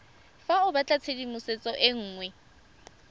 fa o batlatshedimosetso e nngwe